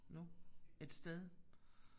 Nu et sted